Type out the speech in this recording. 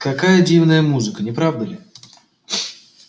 какая дивная музыка не правда ли